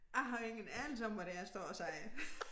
Jeg har ingen anelse om hvad det er jeg står og siger